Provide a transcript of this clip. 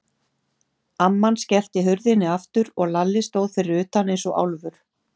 Amman skellti hurðinni aftur og Lalli stóð fyrir utan eins og álfur.